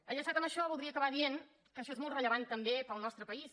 enllaçat amb això voldria acabar dient que això és molt rellevant també per al nostre país